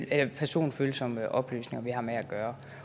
er personfølsomme oplysninger vi har med at gøre